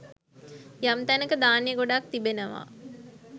යම් තැනක ධාන්‍ය ගොඩක් තිබෙනවා.